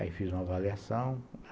Aí fiz uma avaliação.